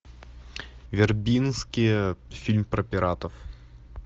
вербинский фильм про пиратов